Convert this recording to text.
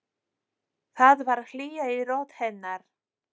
Það var hlýja í rödd hennar.